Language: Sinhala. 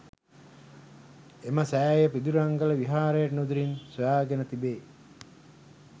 එම සෑය පිදුරංගල විහාරයට නුදුරින් සොයාගෙන තිබේ